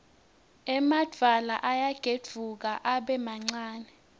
emadvwala ayagedvuka abe mancane